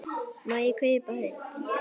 Má ég kaupa hund?